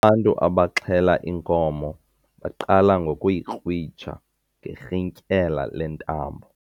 Abantu abaxhele inkomo baqale ngokuyikrwitsha ngerhintyela lentambo.